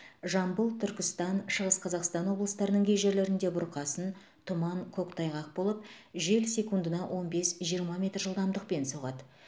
жамбыл түркістан шығыс қазақстан облыстарының кей жерлерінде бұрқасын тұман көктайғақ болып жел секундына он бес жиырма метр жылдамдықпен соғады